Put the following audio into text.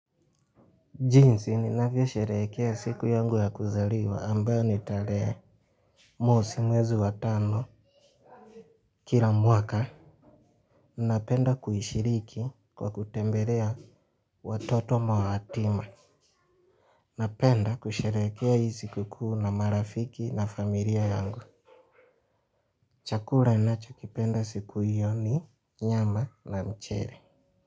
Jinsi ninavyosherehekea siku yangu ya kuzaliwa ambayo ni tarehe mosi mwezi wa tano kila mwaka. Napenda kuishiriki kwa kutembelea watoto mayatima. Napenda kusherehekea hii sikukuu na marafiki na familia yangu. Chakula ninachokipenda siku hiyo ni nyama na mchele.